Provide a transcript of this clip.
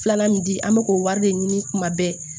Filanan min di an bɛ k'o wari de ɲini kuma bɛɛ